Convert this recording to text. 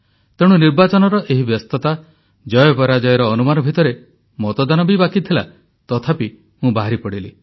ତେଣୁ ନିର୍ବାଚନର ଏହି ବ୍ୟସ୍ତତା ଜୟପରାଜୟର ଅନୁମାନ ଭିତରେ ମତଦାନ ବି ବାକିଥିଲା ତଥାପି ମୁଁ ବାହାରିପଡ଼ିଲି